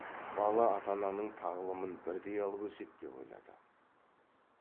бала ата ананың тағылымын бірдей алып өседі деп ойлады